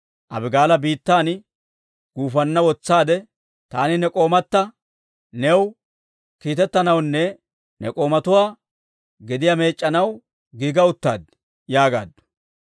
Abigaala biittan guufanna wutushaade, «Taani ne k'oomata new kiitettanawunne ne k'oomatuwaa gediyaa meec'c'anaw giiga uttaad» yaagaaddu.